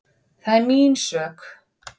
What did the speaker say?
Það er mín ósk.